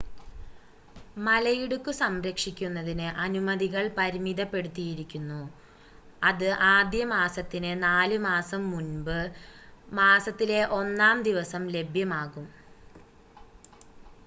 മലയിടുക്ക് സംരക്ഷിക്കുന്നതിന് അനുമതികൾ പരിമിതപ്പെടുത്തിയിരിക്കുന്നു അത് ആദ്യ മാസത്തിന് 4 മാസം മുമ്പ് മാസത്തിലെ 1 ആം ദിവസം ലഭ്യമാകും